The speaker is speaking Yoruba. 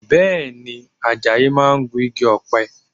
Bẹ́ẹ̀ ni, Àjàyí máa gun igi ọ̀pẹ